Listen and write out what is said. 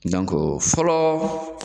fɔlɔ